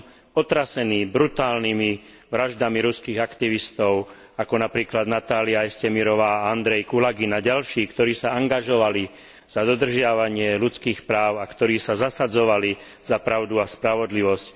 Som otrasený brutálnymi vraždami ruských aktivistov, ako napríklad Natália Jestemirovová a Andrej Kulagin a ďalší, ktorí sa angažovali za dodržiavanie ľudských práv a ktorí sa zasadzovali za pravdu a spravodlivosť.